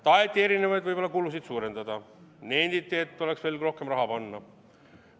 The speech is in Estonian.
Taheti erinevaid kulusid suurendada, nenditi, et oleks võinud rohkem raha panna.